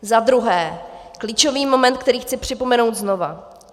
Za druhé, klíčový moment, který chci připomenout znovu.